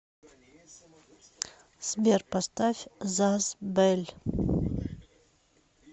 сбер поставь заз бэль